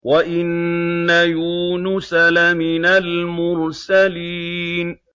وَإِنَّ يُونُسَ لَمِنَ الْمُرْسَلِينَ